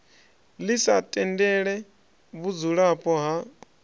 ḽi sa tendele vhudzulapo ha